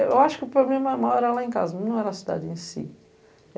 Eu acho que o problema maior era lá em casa, não era a cidade em si.